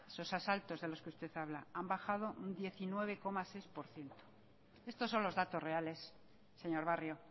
esos asaltos de los que usted habla han bajado un diecinueve coma seis por ciento estos son los datos reales señor barrio